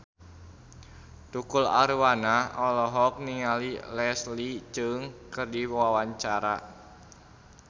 Tukul Arwana olohok ningali Leslie Cheung keur diwawancara